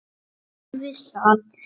Þar við sat.